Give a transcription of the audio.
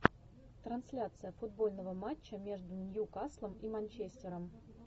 трансляция футбольного матча между ньюкаслом и манчестером